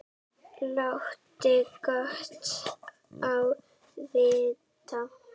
Láti gott á vita.